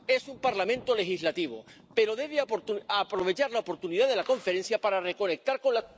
Es un parlamento legislativo, pero debe aprovechar la oportunidad de la Conferencia para reconectar con la